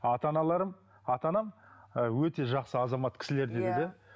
ата аналарым ата анам ыыы өте жақсы азамат кісілер дейді де иә